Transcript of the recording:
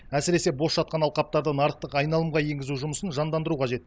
әсіресе бос жатқан алқаптарды нарықтық айналымға енгізу жұмысын жандандыру қажет